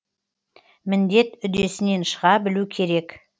міндет үдесінен шыға білу керек